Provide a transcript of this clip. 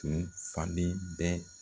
Tun falen bɛ.